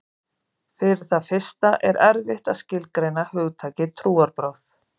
Fyrir það fyrsta er erfitt að skilgreina hugtakið trúarbrögð.